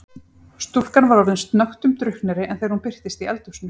Stúlkan var orðin snöggtum drukknari en þegar hún birtist í eldhúsinu.